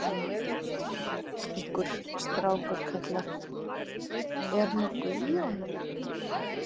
Einhver strákur kallar: Er nokkuð í honum